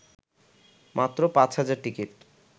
মাত্র ৫ হাজার টিকিট